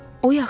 O yaxşıdır.